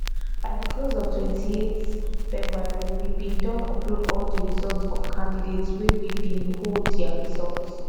by di close of 28th february we bin don upload all di results of candidates wey we bin hold dia results